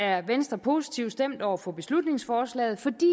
er venstre positivt stemt over for beslutningsforslaget fordi